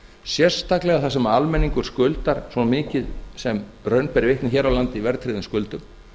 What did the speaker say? sérstaklega þar sem almenningur skuldar svo mikið sem raun ber vitni hér á landi í rauntryggðum skuldum